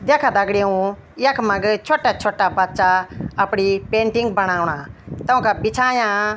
द्याखा दगडियों यखमग छौट्टा छौट्टा बच्चा अपड़ी पेंटिंग बणौंणा तोंका बिछायाँ।